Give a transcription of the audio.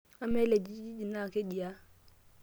amaa ele kijiji naa keji aa